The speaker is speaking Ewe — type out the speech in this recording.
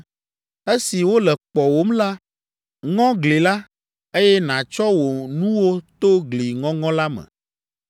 Esi wole kpɔwòm la, ŋɔ gli la, eye nàtsɔ wò nuwo to gli ŋɔŋɔ la me.